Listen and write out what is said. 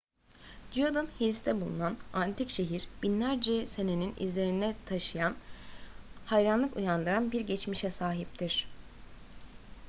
judean hills'te bulunan antik şehir binlerce senenin izlerine taşıyan hayranlık uyandıran bir geçmişe sahiptir